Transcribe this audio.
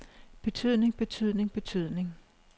betydning betydning betydning